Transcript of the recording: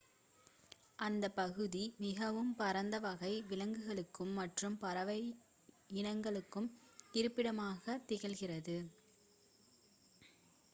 அந்த பகுதி மிகவும் பரந்த வகை விலங்குகள் மற்றும் பறவை இனங்களுக்கு இருப்பிடமாக திகழ்கிறது